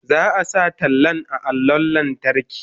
Za a sa tallan a allon lantarki.